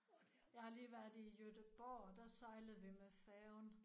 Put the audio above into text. Jeg har lige været i Göteborg og der sejlede vi med færgen